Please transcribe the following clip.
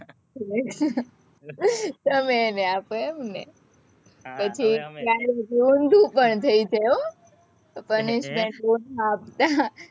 તમે એને આપો એમ ને? પછી ક્યારેક ઊંધું પણ થઇ જાય હો. punishment આપતા.